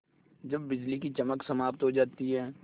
जब बिजली की चमक समाप्त हो जाती है